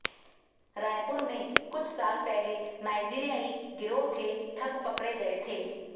रायपुर में कुछ साल पहले नाइजीरियाई गिरोह के ठग पकड़े गए थे